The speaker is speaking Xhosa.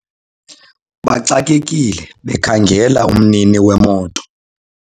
baxakekile bekhangela umnini wemoto